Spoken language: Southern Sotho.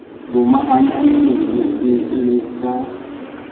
lomahanya meno e le ka